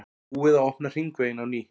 Búið að opna hringveginn á ný